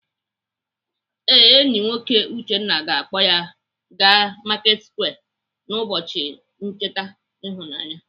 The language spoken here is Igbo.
Ee, enyi nwoke Uchenna ga-akpọ ya aga Marketsquare n'ụbọchi ncheta ịhụnanya.